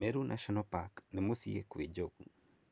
Meru National Park nĩ mũcĩĩ kwĩ njogu.